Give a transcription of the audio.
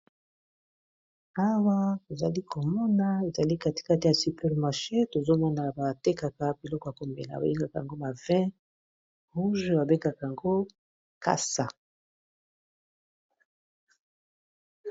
Awa tozali komona ezali katikati ya super macher tozomona batekaka biloko ya komela babengaka yango ba vin rouge babengaka yango kasa.